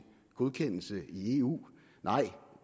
godkendelse i eu nej